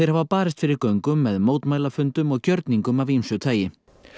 barist fyrir göngum með mótmælafundum og gjörningum af ýmsu tagi